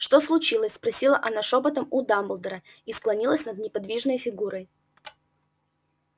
что случилось спросила она шёпотом у дамблдора и склонилась над неподвижной фигурой